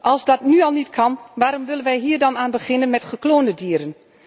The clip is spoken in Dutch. Als dat nu al niet kan, waarom willen wij hier dan aan beginnen met gekloonde dieren?